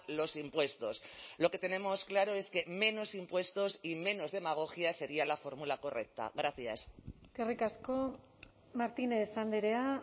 los impuestos lo que tenemos claro es que menos impuestos y menos demagogia sería la fórmula correcta gracias eskerrik asko martínez andrea